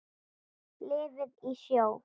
Lifði í sjó.